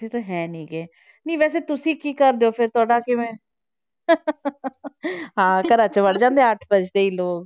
ਇੱਥੇ ਤਾਂ ਹੈ ਨੀ ਗੇ, ਨਹੀਂ ਵੈਸੇ ਤੁਸੀਂ ਕੀ ਕਰਦੇ ਹੋ ਫਿਰ ਤੁਹਾਡਾ ਕਿਵੇਂ ਹਾਂ ਘਰਾ 'ਚ ਵੜ ਜਾਂਦੇ ਹੈ ਅੱਠ ਵੱਜਦੇ ਹੀ ਲੋਕ